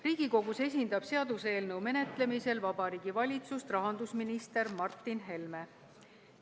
Riigikogus esindab seaduseelnõu menetlemisel Vabariigi Valitsust rahandusminister Martin Helme.